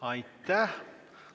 Aitäh!